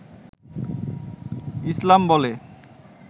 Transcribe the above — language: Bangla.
ইছলাম বলে